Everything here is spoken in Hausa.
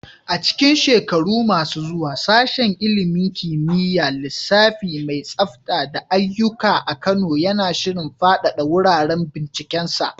A cikin shekaru masu zuwa, Sashen ilimin kimiyyar lissafi mai tsafta da aiyuka a Kano yana shirin fadada wuraren bincikensa.